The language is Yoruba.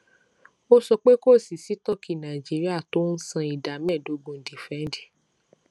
ó sọ pé kò sí sítọọkì nàìjíríà tó ń san ìdá méẹdógún dífídẹǹdì